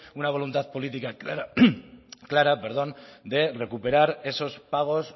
una voluntad política clara perdón de recuperar esos pagos